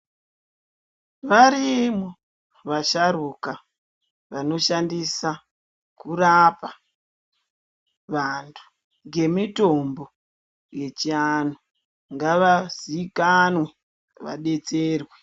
Varimo vasharuka vanoshandisa kurapa vantu ngemitombo yechiantu ngavazikanwe vabetserwe .